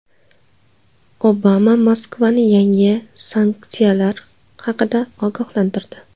Obama Moskvani yangi sanksiyalar haqida ogohlantirdi.